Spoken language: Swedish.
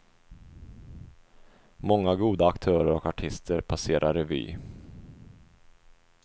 Många goda aktörer och artister passerar revy.